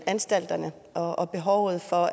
anstalterne og og behovet for